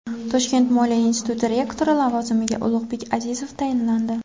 Toshkent moliya instituti rektori lavozimiga Ulug‘bek Azizov tayinlandi.